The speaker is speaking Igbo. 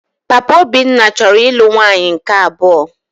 Papa Obinna chọrọ ịlụ nwaanyị nke abụọ